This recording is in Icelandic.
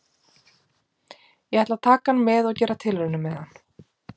Ég ætla að taka hann með og gera tilraunir með hann.